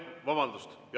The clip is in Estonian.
Vabandust!